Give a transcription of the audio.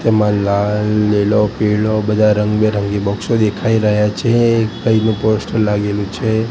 એમા લાલ લીલો પીળો બધા રંગબેરંગી બોક્સો દેખાય રહ્યા છે એક ભાઈનું પોસ્ટર લાગેલું છે.